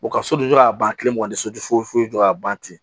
ka sojɔ ka ban kile mugan ni sojo foyi jɔ ka ban ten